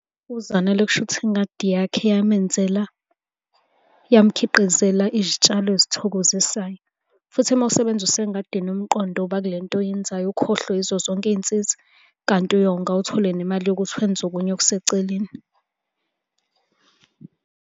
UZanele kushuthi ingadi yakhe yamenzela, yamkhiqizela izitshalo ezithokozisayo, futhi uma usebenzisa engadini umqondo uba kule nto oyenzayo ukhohlwe yizo zonke iy'nsizi, kanti uyonga uthole nemali yokuthi wenze okunye okuseceleni.